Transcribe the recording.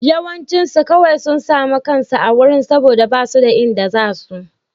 Yawancinsu kawai sun sami kansu a wurin saboda ba su da inda za su.